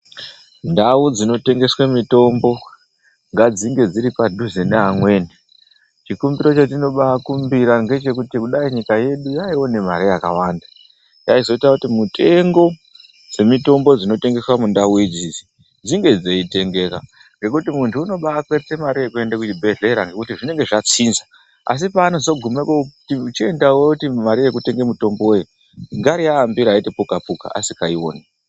Ndau dzinotengeswe mitombo ngadzinge dziripadhuze neamweni. Chikumbiro chetinobaakumbira ngechekuti kudai nyika yedu yaione mari yakawanda, yaizoite kuti mutengo dzemitombo dzinotengeswe mundau idzidzi dzinge dzeitengeka, ngekuti muntu unobakwerete mari yekuende kuchibhedhlera ngekuti zvinenge zvatsinza, asi peanozogume koti chienda woti mari yekutenga mutombowe ngari aambira eiti puka-puka asikaioni.